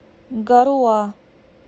гаруа